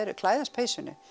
klæðast peysunni